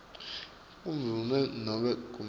kundvuna nobe kumec